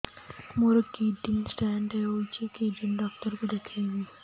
ମୋର kidney stone ହେଇଛି kidney doctor କୁ ଦେଖାଇବି